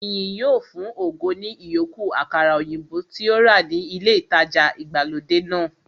Ìyìn yóò fun ògo ní ìyókù àkàrà òyìnbó tí ó rà ní ilé ìtajà ìgbàlódé náà